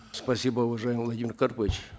спасибо уважаемый владимир карпович